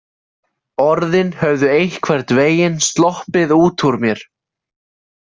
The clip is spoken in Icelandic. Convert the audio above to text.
Orðin höfðu einhvern veginn sloppið út úr mér.